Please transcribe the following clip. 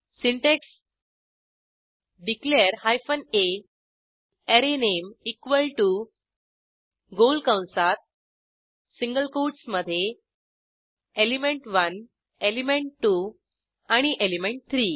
syntax declare hyphen a array name equal to गोल कंसात single कोटसमधे एलिमेंट1 एलिमेंट2 एंड एलिमेंट3